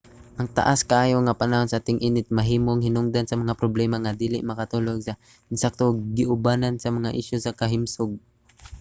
ang taas kaayo nga panahon sa ting-init mahimong hinungdan sa mga problema nga dili makatulog sa insakto ug giubanan sa mga isyu sa kahimsog